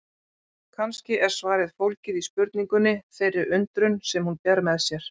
Kannski er svarið fólgið í spurningunni, þeirri undrun sem hún ber með sér.